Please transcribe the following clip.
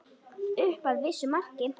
Upp að vissu marki.